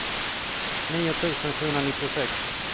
nio tusen sjuhundranittiosex